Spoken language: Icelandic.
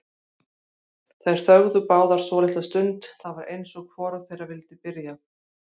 Þær þögðu báðar svolitla stund, það var eins og hvorug þeirra vildi byrja.